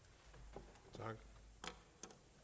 ondt